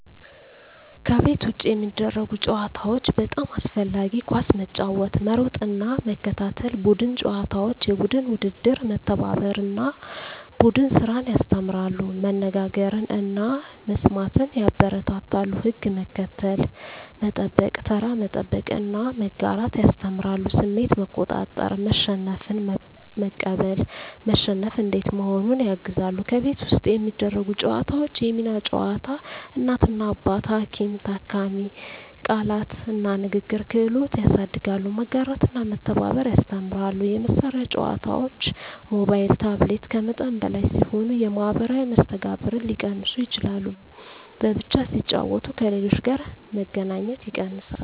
ከቤት ውጭ የሚደረጉ ጨዋታዎች (በጣም አስፈላጊ) ኳስ መጫወት መሮጥና መከታተል ቡድን ጨዋታዎች (የቡድን ውድድር) መተባበርን እና ቡድን ስራን ያስተምራሉ መነጋገርን እና መስማትን ያበረታታሉ ሕግ መከተል፣ መጠበቅ (ተራ መጠበቅ) እና መጋራት ያስተምራሉ ስሜት መቆጣጠር (መሸነፍን መቀበል፣ መሸነፍ እንዴት መሆኑን) ያግዛሉ ከቤት ውስጥ የሚደረጉ ጨዋታዎች የሚና ጨዋታ (እናት–አባት፣ ሐኪም–ታካሚ) ቃላት እና ንግግር ክህሎት ያሳድጋሉ መጋራትና መተባበር ያስተምራሉ የመሳሪያ ጨዋታዎች (ሞባይል/ታብሌት) ከመጠን በላይ ሲሆኑ የማኅበራዊ መስተጋብርን ሊቀንሱ ይችላሉ በብቻ ሲጫወቱ ከሌሎች ጋር መገናኘት ይቀንሳል